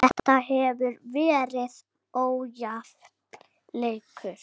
Þetta hefur verið ójafn leikur.